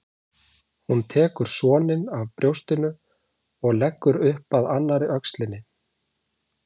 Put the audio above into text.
Hún tekur soninn af brjóstinu og leggur upp að annarri öxlinni.